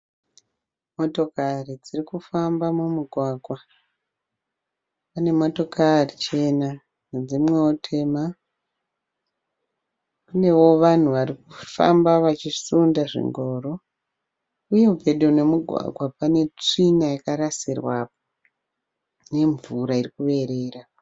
Motokari dziri kufamba mumugwagwa pane motokari chena nedzimwewo tema kunewo vanhu vari kufamba vachisunda zvingoro. Uye pedo nemugwagwa pane tsvina yakarasirwapo nemvura iri kuyerera.